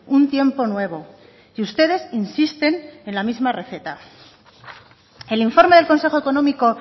un tiempo nuevo y ustedes insisten en la misma receta el informe del consejo económico